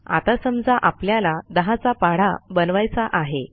आता समजा आपल्याला 10चा पाढा बनवायचा आहे